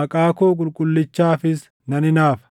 maqaa koo qulqullichaafis nan hinaafa.